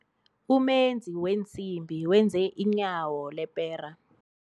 Umenzi weensimbi wenze inyawo lepera.